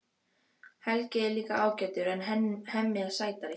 Helgi er líka ágætur en Hemmi er sætari.